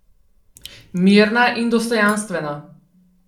Mirna in dostojanstvena.